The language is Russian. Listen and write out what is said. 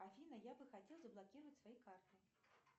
афина я бы хотел заблокировать свои карты